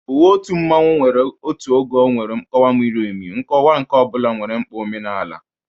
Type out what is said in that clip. Uwe otu mmanwu nwere otu oge nwere nkọwa miri emi, nkọwa nke ọ bụla nwere mkpa omenala.